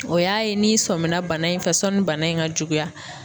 O y'a ye n'i sɔmina bana in fɛ sɔni bana in ŋa juguya.